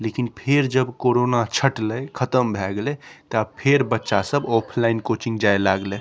लेकीन फिर जब कोरोना छटले ख़त्म भय गेले तब फिर बच्चा सब ऑफलाइन कोचिंग जाय लागले।